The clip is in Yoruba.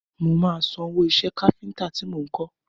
Mo máa sanwó iṣẹ́ káfíntà ti mo lọ kọ.